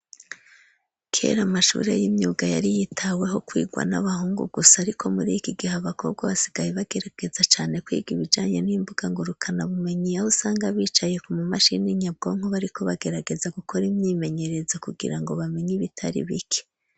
kera amashure y'imyuga yari yitaweho kwigwa n'abahungu gusa ariko muri iki gihe abakobwa basigaye bagerageza cane kwiga ibijanye n'imbuga ngurukanabumenyi aho usanga bicaye ku mu mashini nyabwonko bariko bagerageza gukora imyimenyerezo kugira ngo bamenye ibitari bike